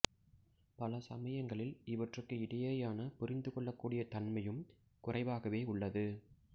பல சமயங்களில் இவற்றுக்கு இடையேயான புரிந்து கொள்ளக்கூடிய தன்மையும் குறைவாகவே உள்ளது